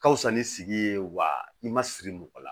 Ka wusa ni sigi ye wa i ma siri mɔgɔ la